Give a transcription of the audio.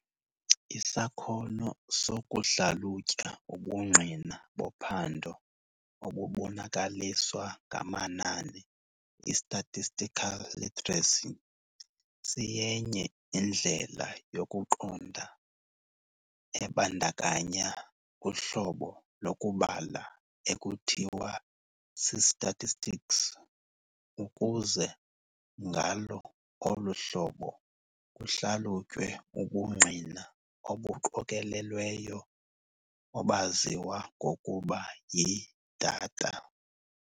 Isakhono sokuhlalutya ubungqina bophando obubonakaliswa ngamanani, I-statistical literacy, siyenye indlela yokuqonda ebandakanya uhlobo lokubala ekuthiwa si-statistics, ukuze ngalo olu hlobo kuhlalutywe ubungqina obuqokolelweyo, obaziwa ngokuba yi-data.